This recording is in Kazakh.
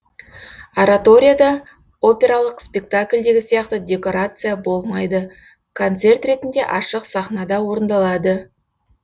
ораторияда опералық спектакльдегі сияқты декорация болмайды концерт ретінде ашық сахнада орындалады